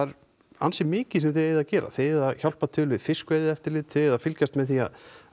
ansi mikið sem þið eigið að gera þið eigið að hjálpa til við fiskveiðieftirlit þið eigið að fylgjast með því að